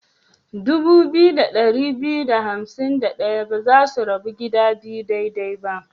Dubu biyu da ɗari biyu da hansim da ɗaya ba za ta rabu gida biyu daidai ba.